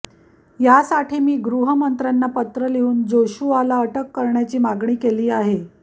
यासाठी मी गृहमंत्र्यांना पत्र लिहून जोशुआला अटक करण्याची मागणी केली आहे